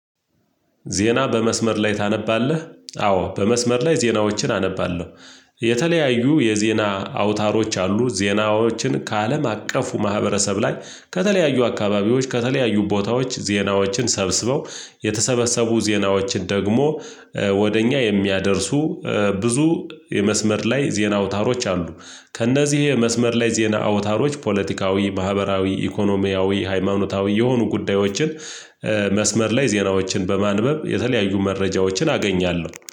ዜና በመስመር ላይ ታነባለህ? አዎ በመስመር ላይ ዜናዎችን አነባለሁ። የተለያዩ የዜና አውታሮች አሉ። ዜናዎችን ከአለም አቀፉ ማህበረሰብ ላይ ከተለያዩ አካባቢዎች ከተለያዩ ቦታዎች ዜናዎችን ሰብስበው የተሰበሰቡ ዜናዎችን ደግሞ ወደ እኛ የሚያደርሱ። ብዙ የመስመር ላይ ዜና አውታሮች አሉ። ከእነዚህ የመስመር ላይ ዜና አውታሮች ፖለቲካዊ ማህበራዊ ኢኮኖሚያዊ ሃይማኖታዊ የሆኑ ጉዳዮችን መስመር ላይ ዜናዎችን በማንበብ የተለያዩ መረጃዎችን አገኛለሁ